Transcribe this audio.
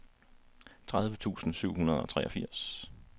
tredive tusind syv hundrede og treogfirs